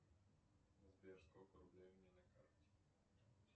сбер сколько рублей у меня на карте